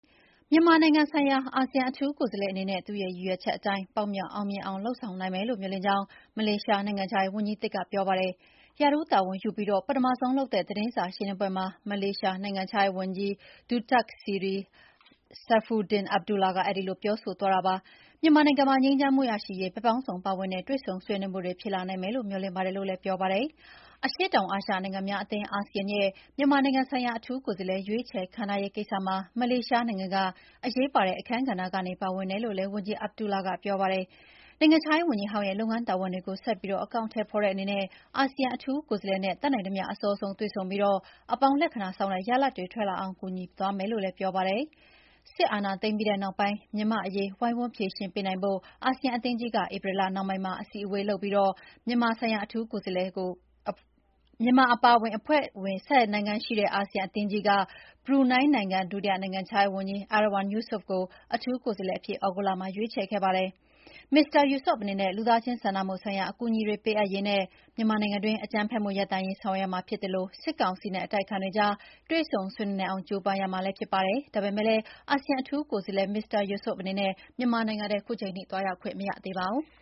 မြန်မာနိုင်ငံဆိုင်ရာ အာဆီယံအထူးကိုယ်စားလှယ်အနေနဲ့ သူ့ရည်ရွယ်ချက်အတိုင်း ပေါက်မြောက်အောင်မြင်အောင် လုပ်ဆောင်နိုင်မယ်လို့ မေ ျှာ်လင့်ကြောင်း မလေးရှားနိုင်ငံခြားရေးဝန်ကြီးသစ်ကပြောပါတယ်။ ရာထူးတာဝန်ယူပြီး ပထမဆုံးလုပ်တဲ့ သတင်းစာရှင်းလင်းပွဲမှာ မလေးရှားနိုင်ငံခြားရေးဝန်ကြီး Datuk Seri Saifuddin Abdullah က အဲဒီလိုပြောဆိုသွားတာပါ။ မြန်မာနိုင်ငံမှာ ငြိမ်းချမ်းမှုရှိရေး ဘက်ပေါင်းစုံပါဝင်တဲ့ တွေ့ဆုံဆွေးနွေးမှုတွေ ဖြစ်လာနိုင်မယ်လို့ မေ ျှာ်လင့်ပါတယ်လို့လည်း ပြောပါတယ်။ အရှေ့တောင်အာရှနိုင်ငံများအသင်း (ASEAN) ရဲ့ မြန်မာနိုင်ငံဆိုင်ရာ အထူးကိုယ်စားလှယ် ရွေးချယ်ခန့်ထားရေးကိစ္စမှာ မလေးရှားနိုင်ငံက အရေးပါတဲ့အခန်းကဏ္ဍကနေ ပါဝင်တယ်လို့လည်း ဝန်ကြီး Abdullah ကပြောပါတယ်။ နိုင်ငံခြားရေးဝန်ကြီးဟောင်းရဲ့လုပ်ငန်းတာဝန်တွေကို ဆက်ပြီးအကောင်အထည်ဖော်တဲ့အနေနဲ့ အာဆီယံ အထူးကိုယ်စားလှယ်နဲ့ တတ်နိုင်သမ ျှ အစောဆုံးတွေ့ဆုံပြီး အပေါင်းလက္ခဏာဆောင်တဲ့ရလဒ်တွေ ထွက်လာအောင် အားပေးကူညီသွားမယ်လို့လည်းပြောပါတယ်။ စစ်အာဏာသိမ်းပြီးနောက်ပိုင်း မြန်မာ့အရေး ဝိုင်းဝန်းဖြေရှင်းပေးနိုင်ဖို့ အာဆီယံအသင်းကြီးက ဧပြီလနှောင်းပိုင်းမှာ အစည်းအဝေးလုပ်ပြီး မြန်မာဆိုင်ရာ အထူးကိုယ်စားလှယ်ခန့်ထားရေးအပါအဝင် ဘုံသဘောတူညီချက် ၅ ရပ်ကိုချမှတ်ခဲ့ကြပါတယ်။ မြန်မာအပါအဝင် အဖွဲ့ဝင် ၁၀ နိုင်ငံရှိတဲ့ အာဆီယံအသင်းကြီးက ဘရူနိုင်းနိုင်ငံ ဒုတိယနိုင်ငံခြားရေးဝန်ကြီး Erywan Yusof ကို အထူးကိုယ်စားလှယ်အဖြစ် သြဂုတ်လမှာ ရွေးချယ်နိုင်ခဲ့ကြပါတယ်။ မစ္စတာ Yusof အနေနဲ့ လူသားချင်းစာနာမှုဆိုင်ရာအကူအညီတွေ ပေးအပ်ရေးနဲ့ မြန်မာနိုင်ငံတွင်း အကြမ်းဖက်မှုရပ်တန့်ရေး ဆောင်ရွက်ရမှာဖြစ်သလို စစ်ကောင်စီနဲ့ အတိုက်အခံတွေကြား တွေ့ဆုံဆွေးနွေးနိုင်အောင် ကျိုးပမ်းရမှာလ ည်းဖြစ်ပါတယ်။ ဒါပေမယ့်လည်း အာဆီယံအထူးကိုယ်စားလှယ် Mr. Yusof အနေနဲ့ မြန်မာနိုင်ငံထဲ ခုချိန်ထိ သွားရောက်နိုင်ခြင်းမရှိသေးပါဘူး။